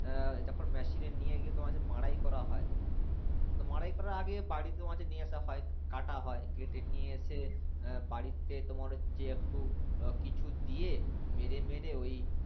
এর যখন মেশিনে নিয়ে গিয়ে তোমার হচ্ছে মাড়াই করা হয় মাড়াই করার আগে বাড়িতে তোমার হচ্ছে নিয়ে আশা হয় কাটা হয় কেটে নিয়ে এসে এর বাড়িতে তোমার হচ্ছে একটু কিছু দিয়ে মেরে মেরে ওই